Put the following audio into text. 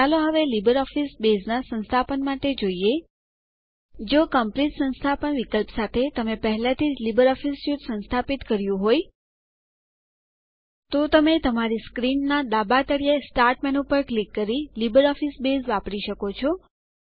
ચાલો હવે LibreOffice base ના સંસ્થાપન માટે જોઈએ જો કોમ્પ્લીટ સંસ્થાપન વિકલ્પ સાથે તમે પહેલાથી જ લીબરઓફીસ સ્યુટ સંસ્થાપિત કર્યું હોય તો તમે તમારી સ્ક્રીનના ડાબા તળિયે સ્ટાર્ટ મેનૂ પર ક્લિક કરી લીબરઓફીસ બેઝ વાપરી શકો છો